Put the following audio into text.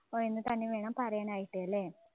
എന്നുതന്നെ വേണം പറയാൻ ആയിട്ട് അല്ലേ?